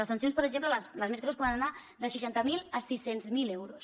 les sancions per exemple les més greus poden anar de seixanta mil a sis cents miler euros